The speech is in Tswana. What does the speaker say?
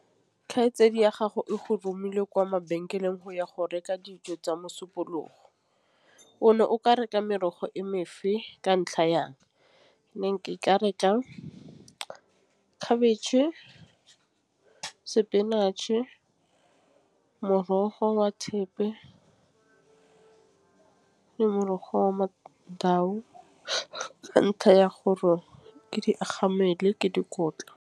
Kgaitsedi ya gago e go romile kwa mabenkeleng go ya go reka dijo tsa mosupologo. O no o ka reka merogo e ka ntlha yang? Ke ka reka khabetšhe, spinach-e, morogo wa thepe. Ke morogo wa ka ntlha ya gore ke di agang mmele ke dikotla.